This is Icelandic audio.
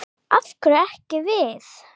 Af hverju ekki við?